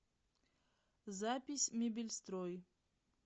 запись мебельстрой